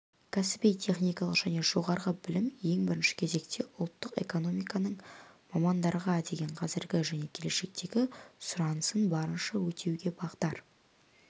кәсіби-техникалық және жоғары білім ең бірінші кезекте ұлттық экономиканың мамандарға деген қазіргі және келешектегі сұранысын барынша өтеуге бағдар